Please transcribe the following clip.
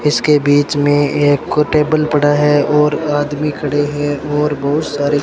इसके बीच मे एक को टेबल पड़ा है और आदमी खड़े है और बहुत सारे--